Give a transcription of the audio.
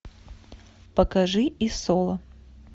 покажи и соло